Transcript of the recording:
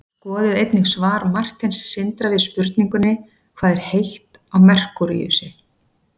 skoðið einnig svar marteins sindra við spurningunni hvað er heitt á merkúríusi